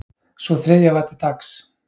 Sú þriðja var til taks